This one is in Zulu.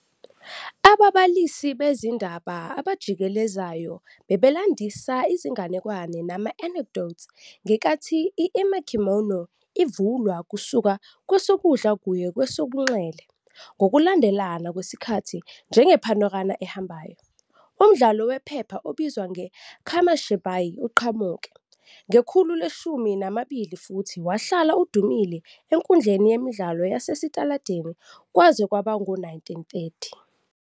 Ababalisi bezindaba abajikelezayo babelandisa izinganekwane nama-anecdotes ngenkathi i- "emakimono" ivulwa kusuka kwesokudla kuye kwesobunxele ngokulandelana kwesikhathi, njenge-panorama ehambayo. Umdlalo wephepha obizwa "ngeKamishibai uqhamuke" ngekhulu leshumi nambili futhi wahlala udumile enkundleni yemidlalo yasesitaladini kwaze kwaba ngawo-1930.